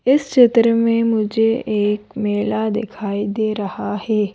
इस चित्र में मुझे एक मेला दिखाई दे रहा है।